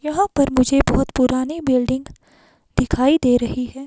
यहां पर मुझे बहुत पुरानी बिल्डिंग दिखाई दे रही है।